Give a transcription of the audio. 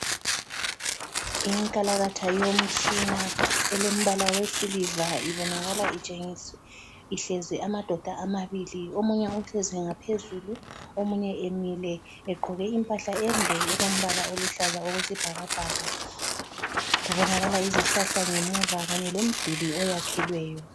Inkalakatha yomtshina, elembala owesiliva ibonakala ihlezi amadoda amabili. Omunye uhlezi ngaphezulu, omunye emile egqoke impahla ende elombala oluhlaza okwesibhakabhaka. Kubonakala izihlahla ngemuva kanye lomduli oyakhelweyo.